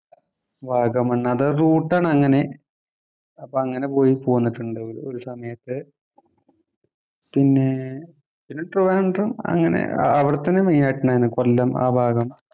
വാഗമണ്‍ അത് റൂട്ട് ആണ് അങ്ങനെ. അപ്പോ അങ്ങനെ പോയി പോന്നിട്ടുണ്ട് ഒരു സമയത്ത്. പിന്നെ ട്രിവാന്‍ഡ്രം അങ്ങനെ അവിടെത്തന്നെ മെയിന്‍ ആയിട്ടുള്ളത്‌ ആയിട്ടുള്ളത് കൊല്ലം ആ ഭാഗം